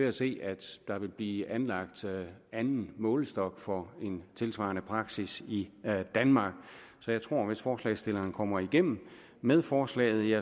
at se at der vil blive anlagt en anden målestok for en tilsvarende praksis i danmark så jeg tror hvis forslagsstillerne kommer igennem med forslaget